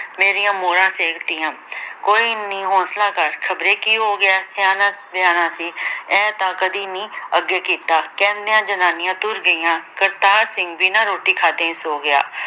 ਮੇਰੀਆਂ ਮੌਰਾਂ ਸੇਕ ਤੀਆਂ ਕੋਈ ਨੀ ਹੋਂਸਲਾ ਕਰ ਖਬਰੇ ਕੀ ਹੋ ਗਿਆ, ਸਿਆਣਾ ਬਿਆਣਾ ਸੀ ਇਹ ਤਾਂ ਕਦੀ ਨੀ ਅੱਗੇ ਕੀਤਾ ਕਹਿੰਦਿਆਂ ਜਨਾਨੀਆਂ ਤੁਰ ਗਈਆਂ ਕਰਤਾਰ ਸਿੰਘ ਬਿਨਾ ਰੋਟੀ ਖਾਧੇ ਹੀ ਸੋ ਗਿਆ।